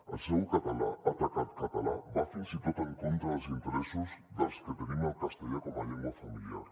el seu atac al català va fins i tot en contra dels interessos dels que tenim el castellà com a llengua familiar